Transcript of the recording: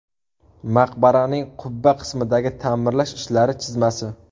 Maqbaraning qubba qismidagi ta’mirlash ishlari chizmasi.